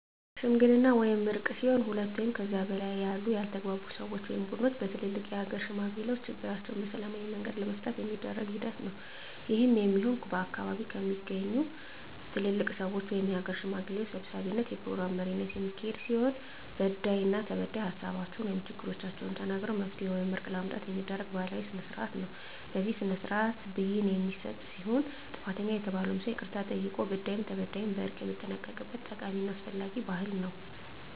ሽምግልና ወይም እርቅ ሲሆን ሁለት ወይም ከዚያ በላይ ያሉ ያልተግባቡ ሰወች ወይም ቡድኖች በትልልቅ የሀገር ሽማግሌዎች ችግራቸዉን በሰላማዊ መንገድ ለመፍታት የሚደረግ ሂደት ነዉ። ይህም የሚሆን ከአካባቢዉ በሚገኙ ትልልቅ ሰወች(የሀገር ሽማግሌዎች) ሰብሳቢነት(የፕሮግራም መሪነት) የሚካሄድ ሲሆን በዳይና ተበዳይ ሀሳባቸዉን(ችግሮቻቸዉን) ተናግረዉ መፍትሄ ወይም እርቅ ለማምጣት የሚደረግ ባህላዊ ስርአት ነዉ። በዚህ ስርአትም ብይን የሚሰጥ ሲሆን ጥፋተኛ የተባለዉም ሰዉ ይቅርታ ጠይቆ በዳይም ተበዳይም በእርቅ የሚጠናቀቅበት ጠቃሚና አስፈላጊ ባህል ነዉ።